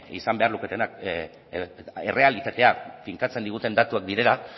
izan behar luketenak errealitatea finkatzen diguten datuak direla